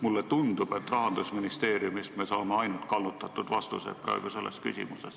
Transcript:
Mulle tundub, et Rahandusministeeriumist me saame selles küsimuses ainult kallutatud vastuseid.